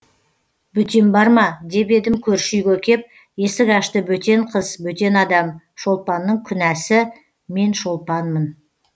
бөтен бар ма деп едім көрші үйге кеп есік ашты бөтен қыз бөтен адам шолпанның күнәсі мен шолпанмын